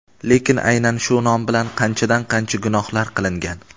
lekin aynan shu nom bilan qanchadan-qancha gunohlar qilingan.